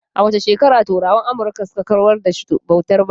A wace shekara turawan Amurka suka kawar da bautar bayi?